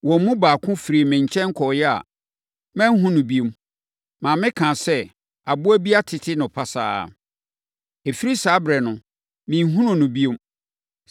Wɔn mu baako firii me nkyɛn kɔeɛ a, manhunu no bio, ma mekaa sɛ, “Aboa bi atete no pasaa.” Ɛfiri saa ɛberɛ no, menhunuu no bio.